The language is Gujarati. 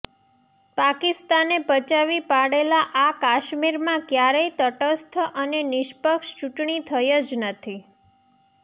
પાકિસ્તાને પચાવી પાડેલા આ કાશ્મીરમાં કયારેય તટસ્થ અને નિષ્પક્ષ ચૂંટણી થઈ જ નથી